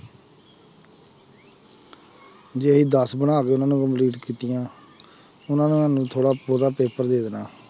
ਜੇ ਅਸੀਂ ਦਸ ਬਣਾ ਕੇ ਕੀਤੀਆਂ ਉਹਨਾਂ ਨੇ ਸਾਨੂੰ ਥੋੜ੍ਹਾ ਉਹਦਾ ਪੇਪਰ ਦੇ ਦੇਣਾ